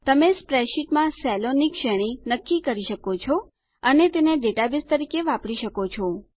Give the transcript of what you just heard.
તમે સ્પ્રેડશીટમાં સેલોની શ્રેણી નક્કી કરી શકો છો અને તેને ડેટાબેઝ તરીકે વાપરી શકો છો